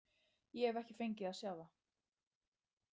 Ég hef ekki fengið að sjá þá.